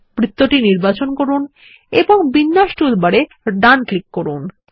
বৃত্ত নির্বাচন করুন এবং বিন্যাস টুলবার এ ডান রাইট ক্লিক করুন